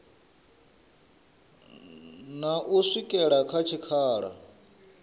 na u swikela kha tshikhala